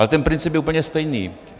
Ale ten princip je úplně stejný.